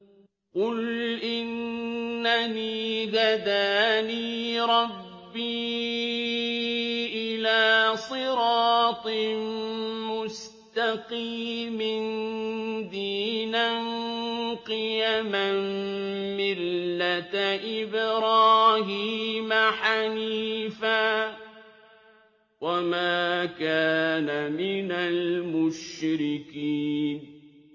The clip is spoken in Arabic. قُلْ إِنَّنِي هَدَانِي رَبِّي إِلَىٰ صِرَاطٍ مُّسْتَقِيمٍ دِينًا قِيَمًا مِّلَّةَ إِبْرَاهِيمَ حَنِيفًا ۚ وَمَا كَانَ مِنَ الْمُشْرِكِينَ